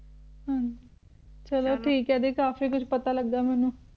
ਹਾਂਜੀ ਚਲੋ ਠੀਕ ਆ ਦੀਦੀ ਕਾਫੀ ਕੁਛ ਪਤਾ ਲੱਗਾ ਮੈਨੂੰ